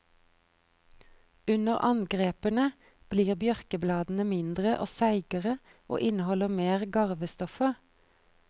Under angrepene blir bjørkebladene mindre og seigere, og inneholder mer garvestoffer.